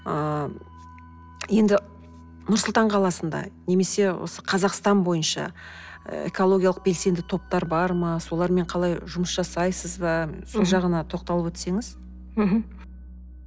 ыыы енді нұр сұлтан қаласында немесе осы қазақстан бойынша ы экологиялық белсенді топтар бар ма солармен қалай жұмыс жасайсыз ба сол жағына тоқталып өтсеңіз мхм